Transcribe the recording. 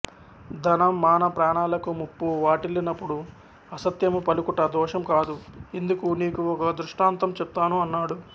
ధన మాన ప్రాణాలకు ముప్పు వాటిల్లినపుడు అసత్యము పలుకుట దోషం కాదు ఇందుకు నీకు ఒక దృష్టాంతం చెప్తాను అన్నాడు